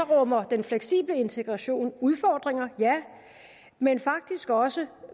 rummer den fleksible integration udfordringer ja men faktisk også